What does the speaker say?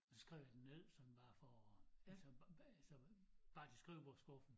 Så skrev jeg det ned sådan bare for at ligesom at sådan bare til skrivebordskuffen